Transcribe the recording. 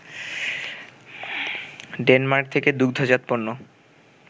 Denmark থেকে দুগ্ধজাত পণ্য